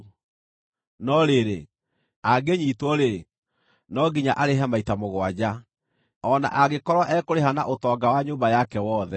No rĩrĩ, angĩnyiitwo-rĩ, no nginya arĩhe maita mũgwanja, o na angĩkorwo ekũrĩha na ũtonga wa nyũmba yake wothe.